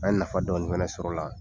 An ye nafa dɔɔnin fana sɔrɔ o la.